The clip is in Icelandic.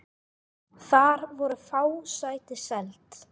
Þar voru fá sæti seld.